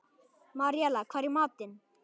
Maríella, hvað er í matinn?